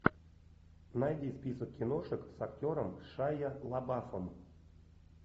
найди список киношек с актером шайа лабафом